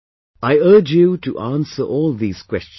I urge you to answer all these questions